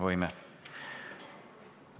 Võime.